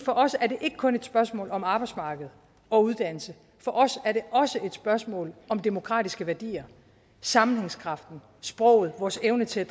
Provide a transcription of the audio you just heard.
for os er det ikke kun et spørgsmål om arbejdsmarked og uddannelse for os er det også et spørgsmål om demokratiske værdier sammenhængskraften sproget vores evne til